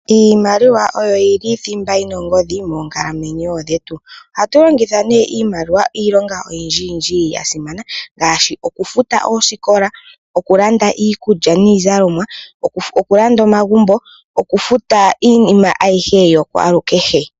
Iimaliwa oyo yili thimba yina ongodhi moonkalamwenyo dhetu . Ohatu longitha iimaliwa iilonga oyindjiyindji yasimana, ngaashi okufuta oosikola , okulanda iikulya niizalomwa , okulanda omagumbo nokufuta iinima aihe yokwaalukehe.